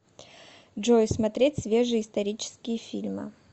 джой смотреть свежие исторические фильмы